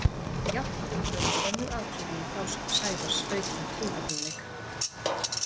Jafnframt öðlast önnur atriði í frásögn Sævars aukinn trúverðugleika.